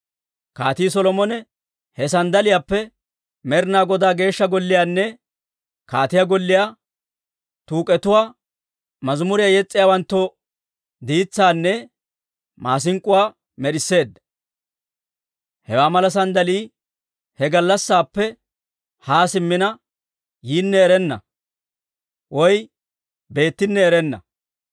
Kaatii Solomone he sanddaliyaappe Med'inaa Godaa Geeshsha Golliyaanne kaatiyaa golliyaa tuuk'etuwaa, mazimuriyaa yes's'iyaawanttoo diitsaanne maasink'k'uwaa med'isseedda. Hewaa mala sanddalii he gallassaappe haa simmina yinne erenna, beettinne erenna.)